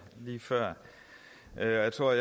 lige før jeg tror